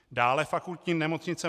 Dále Fakultní nemocnice